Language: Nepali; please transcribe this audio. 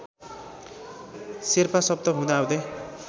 शेर्पा शब्द हुँदाहुँदै